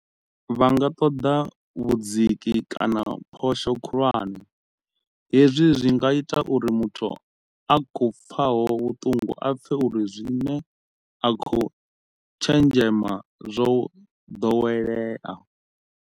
Vha nga ṱoḓa vhudziki kana phosho khulwane. Hezwi zwi nga ita uri muthu a khou pfaho vhuṱungu a pfe uri zwine a khou tshenzhema zwo ḓowelea.